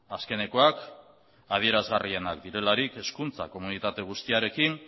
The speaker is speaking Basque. azkenekoak adierazgarrienak direlarik hezkuntza komunitate guztiarekin